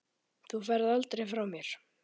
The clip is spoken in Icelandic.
Þú ferð aldrei frá mér.